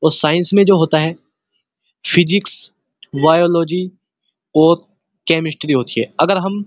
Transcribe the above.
उस साइंस में जो होता है फिजिक्स बायोलॉजी और केमिस्टरी होती है अगर हम --